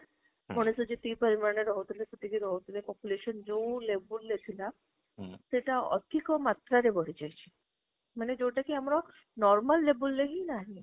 college ରେ ଯେତିକି ମାନେ ରହୁଥିଲେ ସେତିକି ରହୁଥିଲେ population ଯୋଉ level ରେ ଥିଲା ସେଟା ଅଧୀକ ମାତ୍ରାରେ ବଢିଚାଲିଛି ମାନେ ଯୋଉଟା କି ଆମର normal level ରେ ନାହିଁ